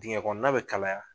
Digɛn kɔnɔna bɛ kalaya